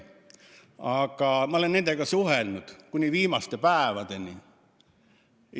Nüüd ma olen nendega suhelnud kuni viimaste päevadeni.